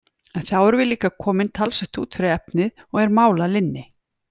En þá erum við líka komin talsvert út fyrir efnið, og er mál að linni!